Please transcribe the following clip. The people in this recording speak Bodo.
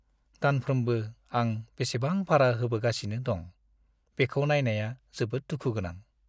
दानफ्रोमबो आं बेसेबां भारा होबोगासिनो दं, बेखौ नायनाया जोबोद दुखु गोनां।